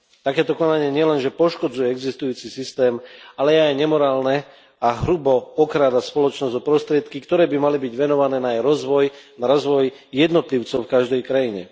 Takéto konanie nielenže poškodzuje existujúci systém, ale je aj nemorálne a hrubo okráda spoločnosť o prostriedky, ktoré by mali byť venované na jej rozvoj, na rozvoj jednotlivcov v každej krajine.